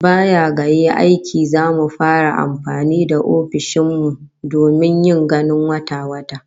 Baya ga yin aiki, zamu fara amfani da ofishin mu domin yin ganin wata-wata